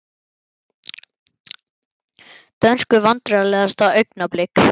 Dönsku Vandræðalegasta augnablik?